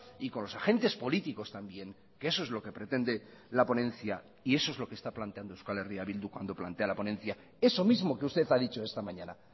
y con los agentes políticos también que eso es lo que pretende la ponencia y eso es lo que está planteando euskal herria bildu cuando plantea la ponencia eso mismo que usted ha dicho esta mañana